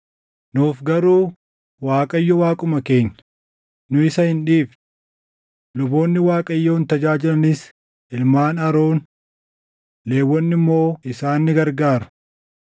“Nuuf garuu Waaqayyo Waaquma keenya; nu isa hin dhiifne. Luboonni Waaqayyoon tajaajilanis ilmaan Aroon; Lewwonni immoo isaan ni gargaaru.